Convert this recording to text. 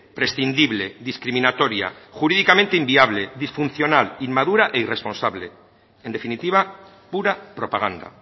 prescindible discriminatoria jurídicamente inviable disfuncional inmadura e irresponsable en definitiva pura propaganda